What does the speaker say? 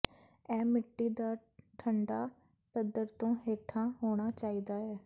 ਇਹ ਮਿੱਟੀ ਦਾ ਠੰਢਾ ਪੱਧਰ ਤੋਂ ਹੇਠਾਂ ਹੋਣਾ ਚਾਹੀਦਾ ਹੈ